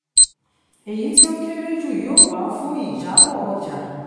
èyí tí ó kéré jù yóò wà fún ìjábọ̀ ọjà